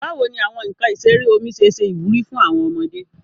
Bawo ni awọn nkan isere omi ṣe ṣe iwuri fun awọn ọmọde?